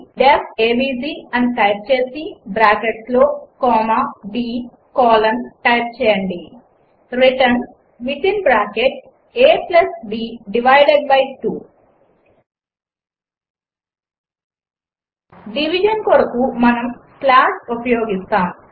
D E F A V G అని type చేసి బ్రాకెట్స్లో కామా b కోలన్ టైప్ చేయండి return within bracket a b divided by 2 division కొరకు మనము స్లాష్ ఉపయోగిస్తాము